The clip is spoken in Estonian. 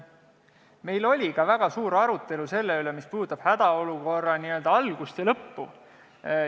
Meil oli väga suur arutelu selle üle, mis puudutab hädaolukorra n-ö algust ja lõppu.